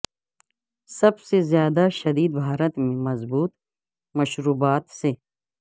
سب سے زیادہ شدید بھارت میں مضبوط مشروبات سے